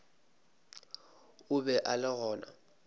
o be a le gona